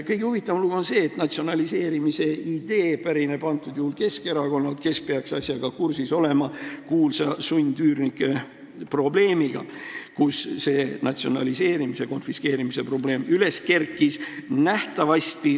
Kõige huvitavam lugu on see, et selle natsionaliseerimise idee pärineb Keskerakonnalt, kes peaks asjaga kursis olema: ta peaks kursis olema kuulsa sundüürnike probleemiga, mispuhul see natsionaliseerimise ja konfiskeerimise probleem üles kerkis.